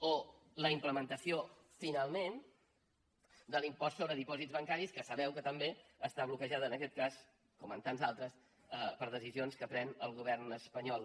o la implementació finalment de l’impost sobre dipòsits bancaris que sabeu que també està bloquejada en aquest cas com en tants d’altres per decisions que pren el govern espanyol